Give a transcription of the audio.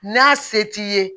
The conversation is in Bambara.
N'a se t'i ye